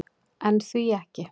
En því ekki?